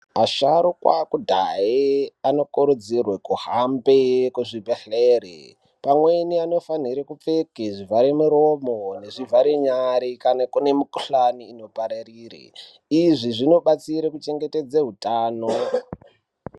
Asharuka ekudhaya anokurudzirwa kuhamba muzvibhedhlera pamweni anofanirwa kupfeka zvivara muromo nezvivara nyara kana kune mukuhlani ynopararura izvi zvinobatsira kuchengetedza utano .